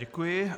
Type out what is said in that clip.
Děkuji.